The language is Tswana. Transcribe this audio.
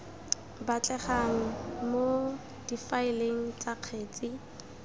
batlegang mo difaeleng tsa kgetsi